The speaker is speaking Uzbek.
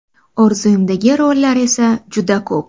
Orzuimdagi rollar esa juda ko‘p.